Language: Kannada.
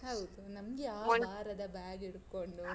ಹೌದು, ನಮ್ಗೆ ಆ ಬಾರದ bag ಹಿಡ್ಕೊಂಡು.